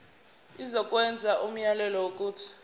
izokwenza umyalelo wokuthi